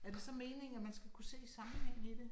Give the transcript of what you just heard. Er det så meningen, at man skal kunne se sammenhængen i det?